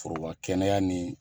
Foroba kɛnɛya ni